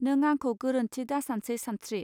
नों आंखौ गोरोन्थि दासानसै सानस्त्रि